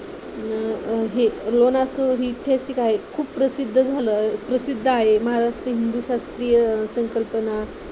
हे लोणार सरोवर हे ऐतिहासिक आहे खूप प्रसिद्ध झालं आहे खूप प्रसिद्ध आहे महाराष्ट्र हिंदू शास्त्रीय संकल्पना